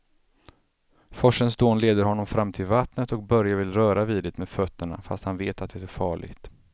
Forsens dån leder honom fram till vattnet och Börje vill röra vid det med fötterna, fast han vet att det är farligt.